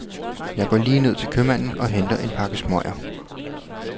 Jeg går lige ned til købmanden og henter en pakke smøger.